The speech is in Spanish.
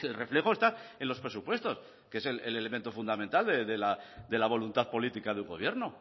reflejo está en los presupuestos que es el elemento fundamental de la voluntad política de un gobierno